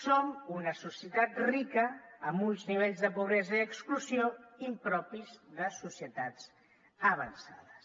som una societat rica amb uns nivells de pobresa i exclusió impropis de societats avançades